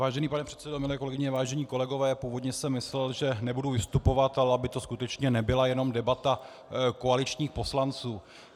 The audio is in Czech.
Vážený pane předsedo, milé kolegyně, vážení kolegové, původně jsem myslel, že nebudu vystupovat, ale aby to skutečně nebyla jenom debata koaličních poslanců.